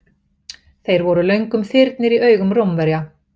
Þeir voru löngum þyrnir í augum Rómverja.